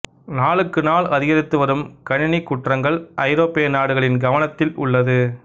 நாளுக்குநாள் அதிகரித்து வரும் கணினிக் குற்றங்கள் ஐரோப்பிய நாடுகளின் கவனத்தில் உள்ளது